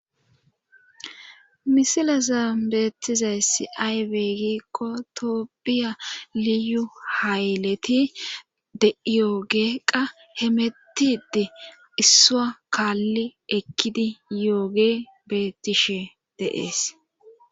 misilaza beettizayssi aybe gikko toopbiya liyu hayleti de'iyooge qa hemettide issuwa kaalli ekkidi yooge beettishe de'ees